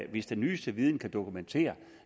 hvis den nyeste viden derfor kan dokumentere